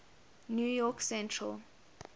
new york central